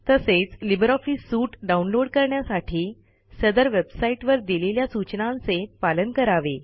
तसेच Libre Office suite download करण्यासाठी सदर वेबसाईटवर दिलेल्या सूचनांचे पालन करावे